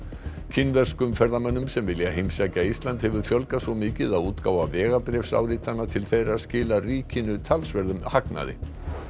kínverskum ferðamönnum sem vilja heimsækja Ísland hefur fjölgað svo mikið að útgáfa vegabréfsáritana til þeirra skilar ríkinu talsverðum hagnaði